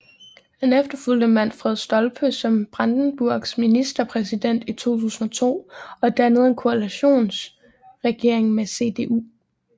Han efterfulgte Manfred Stolpe som Brandenburgs ministerpræsident i 2002 og dannede en koalitionsregering med CDU